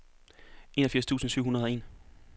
enogfirs tusind syv hundrede og en